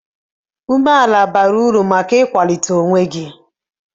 Umeala bara uru maka ịkwalite onwe gị.